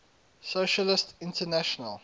socialist international